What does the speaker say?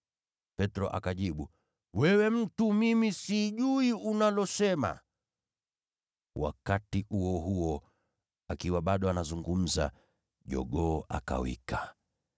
Petro akajibu, “Wewe mtu, mimi sijui unalosema!” Wakati huo huo, akiwa bado anazungumza, jogoo akawika.